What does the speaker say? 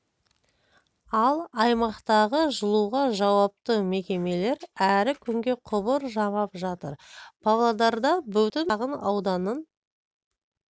ал аймақтағы жылуға жауапты мекемелер әлі күнге құбыр жамап жатыр павлодарда бүтін бір шағын ауданның